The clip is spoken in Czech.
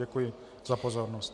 Děkuji za pozornost.